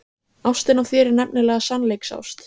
Ástin á þér er nefnilega sannleiksást.